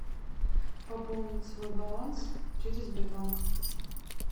пополнить свой баланс через сбербанк